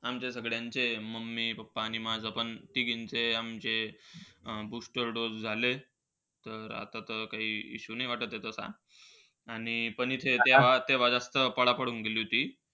आमच्या सगळ्यांचे mummy, papa आणि माझा पण तिघांचं आमचे अं booster dose झालेत. तर आता तर काही तर नाही issue वाटत असा. आणि पण इथे तेव्हा तेव्हा जास्त पाडा पडून गेली होती.